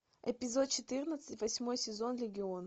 эпизод четырнадцать восьмой сезон легион